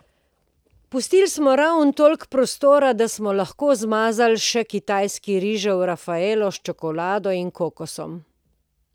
Pustili smo ravno toliko prostora, da smo lahko zmazali še kitajski rižev rafaelo s čokolado in kokosom.